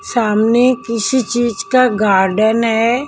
सामने किसी चीज का गार्डन है।